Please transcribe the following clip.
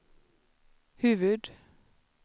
huvud-